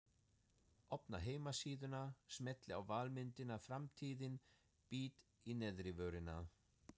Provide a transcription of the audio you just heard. Opna heimasíðuna, smelli á valmyndina Framtíðin, bít í neðrivörina.